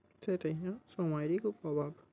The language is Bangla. সেটাই হ্যাঁ সময়েরই খুব অভাব।